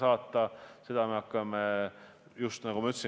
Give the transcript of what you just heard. Aitäh sõna andmast!